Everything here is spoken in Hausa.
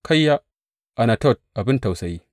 Kayya, Anatot abin tausayi!